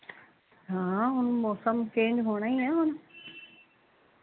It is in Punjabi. ਹਾਂ ਹੁਣ ਮੋਸਮ ਚੰਗੇ ਹੋਣਾ ਹੀਂ ਆ ਹੁਣ